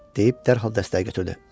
deyib dərhal dəstəyi götürdü.